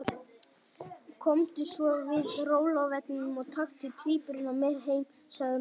Komdu svo við á róluvellinum og taktu tvíburana með heim, sagði mamma.